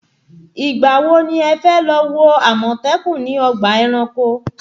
Ìgbà wo ni ẹ fẹ́ lọ wo àmọ̀tẹ́kùn ní ọgbà ẹranko?